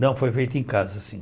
Não, foi feito em casa, sim.